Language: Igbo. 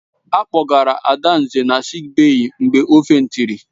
A kpọgara Adanze na sịịk bèyí mgbe ọ fèntịri.